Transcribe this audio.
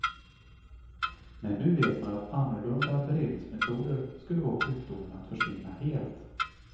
Men nu vet man att annorlunda beredningsmetoder skulle få sjukdomen att försvinna helt.